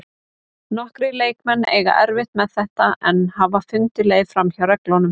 Nokkrir leikmenn eiga erfitt með þetta en hafa fundið leið framhjá reglunum.